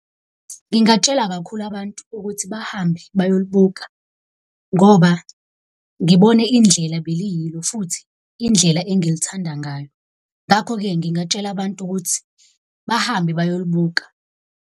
Ngingatshela kakhulu abantu ukuthi bahambe bayolibuka ngoba ngibone indlela beliyilo, futhi indlela engilithanda ngayo. Ngakho-ke, ngingatshela abantu ukuthi bahambe bayolibuka.